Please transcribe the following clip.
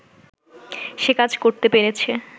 সে কাজ করতে পেরেছে